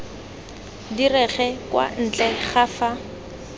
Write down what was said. direge kwa ntle ga fa